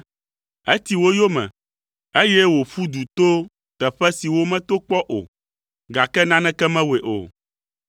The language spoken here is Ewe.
Eti wo yome, eye wòƒu du to teƒe siwo meto kpɔ o, gake naneke mewɔe o.